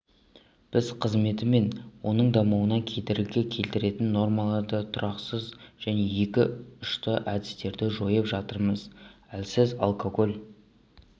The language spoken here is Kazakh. біз қызметі мен оның дамуына кедергі келтіретін нормаларды тұрақсыз және екіұшты әдістерді жойып жатырмыз әлсіз алкоголь